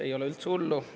Ei ole üldse hullu!